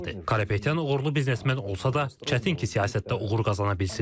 Karapetyan uğurlu biznesmen olsa da, çətin ki, siyasətdə uğur qazana bilsin.